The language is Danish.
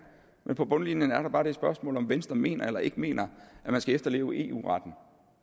men på bundlinjen er der bare det spørgsmål om venstre mener eller ikke mener at man skal efterleve eu retten